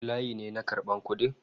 Akwai layi ne na karban kudi??